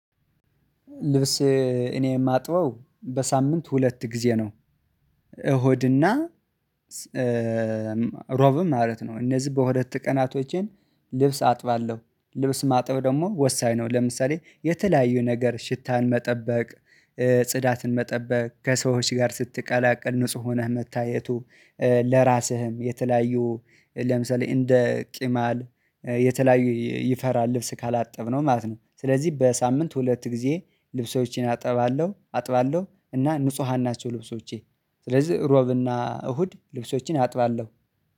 ልብስ እኔ የማጥበው በሳምንት ሁለት ጊዜ ነው። እሁድና ሮብም ማለት ነው። እነዚህ በሁለት ቀናቶቼን ልብስ አጥባለሁ ልብስ ማጥብ ደግሞ ወሳኝ ነው። ለምሳሌ የተለያዩ ነገር ሽታን መጠበቅ። ጽዳትን መጠበቅ ከሰዎች ጋር ስትቀላቀል ንጹህ ሆነህ መታየቱ። ለራስህም የተለያዩ ለምሳሌ እንደ ቅማል የተለያዩ ይፈራል ልብስ ካላጠብነው ማለት ነው። ስለዚህ በሳምንት ሁለት ጊዜ ልብሶቼን አጥባለሁ አጥባለሁ እና ንጹሃን ናቸው። ልብሶቼ ስለዚህ ሮብና እሁድ ልብሶቼን አጥባለሁ።